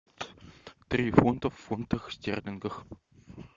три фунта в фунтах стерлингов